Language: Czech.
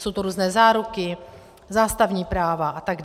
Jsou to různé záruky, zástavní práva atd.